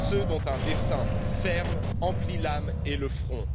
ceux dont un dessein ferme emplit l'âme et le front..